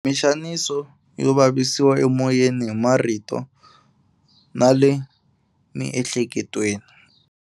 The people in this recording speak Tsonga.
Mixaniso yo vavisiwa emoyeni hi marito na le miehleketweni.